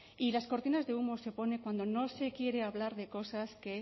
y las cortinas de humo se ponen cuando no se quiere hablar de cosas que